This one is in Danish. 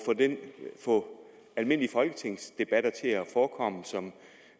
få almindelige folketingsdebatter til at forekomme